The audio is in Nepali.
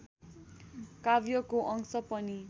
काव्यको अंश पनि